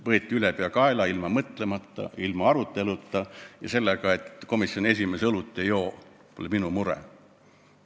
Võeti ülepeakaela, ilma mõtlemata, ilma aruteluta ja selle lausega, et komisjoni esimees õlut ei joo, pole tema mure.